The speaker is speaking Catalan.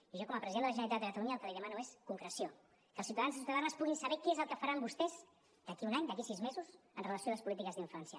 i jo com a president de la generalitat de catalunya el que li demano és concreció que els ciutadans i ciutadanes puguin saber què és el que faran vostès d’aquí a un any d’aquí a sis mesos en relació amb les polítiques d’infància